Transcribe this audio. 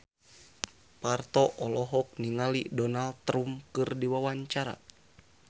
Parto olohok ningali Donald Trump keur diwawancara